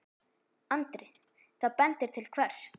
Andri: Það bendir til hvers?